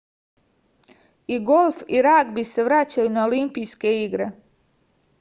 i golf i ragbi se vraćaju na olimpijske igre